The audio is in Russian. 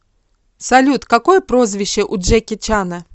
салют какое прозвище у джеки чана